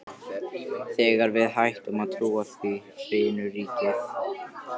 Þegar við hættum að trúa því, hrynur ríkið!